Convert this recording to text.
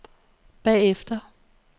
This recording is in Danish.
bagefter